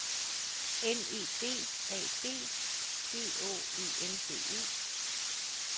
N E D A D G Å E N D E